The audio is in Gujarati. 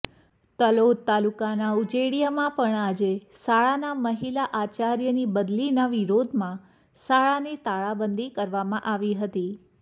તલોદ તાલુકાના ઉજેડીયામાં પણ આજે શાળાના મહિલા આચાર્યની બદલીના વિરોધમાં શાળાને તાળાબંધી કરવામાં આવી હતી